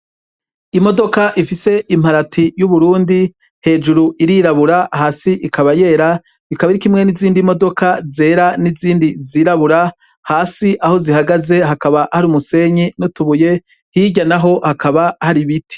Imodoka ifise imparati y'Uburundi hejuru irirabura hasi ikaba yera ikaba iri kumwe nizindi modoka zera nizindi nizirabura hasi aho zihagaze hakaba hari umusenyi hamwe nutubuye, hirya naho hakaba hari ibiti.